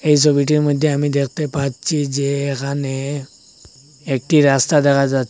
এই ছবিটির মইধ্যে আমি দেখতে পাচ্ছি যে এখানে একটি রাস্তা দেখা যা--